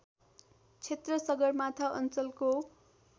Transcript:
क्षेत्र सगरमाथा अञ्चलको